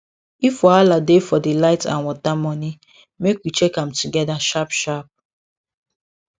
if wahala dey for di light and water money make we check am together sharpsharp